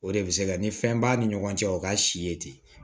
O de bɛ se ka ni fɛn b'a ni ɲɔgɔn cɛ o ka si ye ten